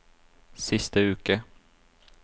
siste uke